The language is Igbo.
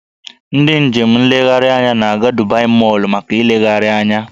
Ndị njem nlegharị anya na-aga Dubai Mọl maka ịlegharị anya